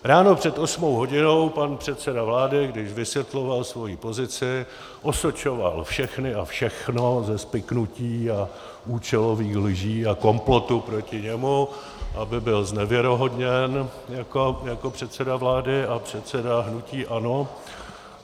Ráno před osmou hodinou pan předseda vlády, když vysvětloval svoji pozici, osočoval všechny a všechno ze spiknutí a účelových lží a komplotu proti němu, aby byl znevěrohodněn jako předseda vlády a předseda hnutí ANO.